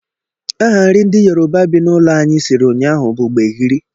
Aha nri ndị Yoruba bi n'ụlọ anyị siri ụnyaahụ bụ gbegiri